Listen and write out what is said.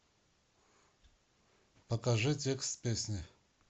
покажи текст песни